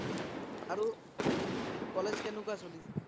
আৰু বাকি college কেনেকোৱা চলি আছে